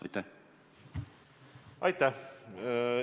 Aitäh!